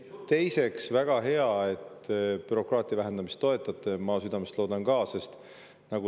Teiseks, väga hea, et te bürokraatia vähendamist toetate, ma südamest loodan seda.